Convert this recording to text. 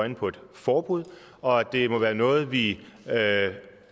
øjne på et forbud og at det må være noget vi